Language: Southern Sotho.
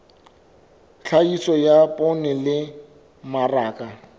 tlhahiso ya poone le mmaraka